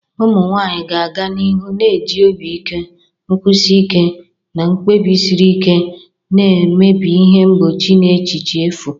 Ụmụ nwanyị ga-aga n'ihu na-eji obi ike, nkwụsi ike, na mkpebi siri ike na-emebi ihe mgbochi na echiche efu.